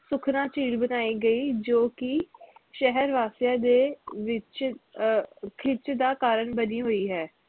ਸੁਖਣਾ ਝੀਲ ਬਣਾਈ ਗਈ ਜੋ ਕਿ ਸ਼ਹਿਰ ਵਾਸੀਆਂ ਦੇ ਵਿਚ ਅਹ ਖਿੱਚ ਦਾ ਕਾਰਣ ਬਣੀ ਹੋਈ ਹੈ